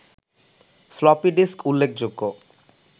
floppy disk উল্লেখযোগ্য